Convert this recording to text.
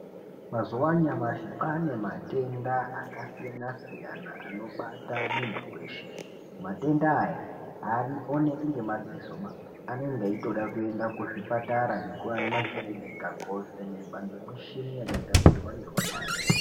Mazuva anyamashi kwane matenda akasiyana-siyana anobata muntu veshe. Matenda aya haaonekwi nemadzisoba anonga aitoda kenda kuzvipatara nekuma kirinika kovhenekwa ngemishini yakagadzirwa ngeunyanzvi.